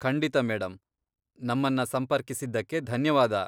ಖಂಡಿತ ಮೇಡಂ. ನಮ್ಮನ್ನ ಸಂಪರ್ಕಿಸಿದ್ದಕ್ಕೆ ಧನ್ಯವಾದ.